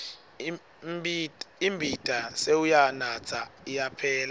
imbita sewuyanatsa ayaphela